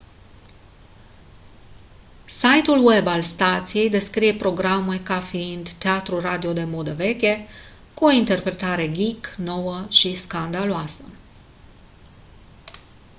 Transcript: site-ul web al stației descrie programul ca fiind «teatru radio de modă veche cu o interpretare geek nouă și scandaloasă!»